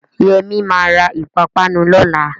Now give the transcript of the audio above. Yẹmí ma ra ìpápánu lọ́la